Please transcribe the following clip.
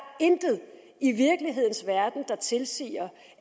intet i virkelighedens verden der tilsiger